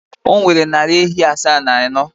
O nwere narị ehi asaa na anọ.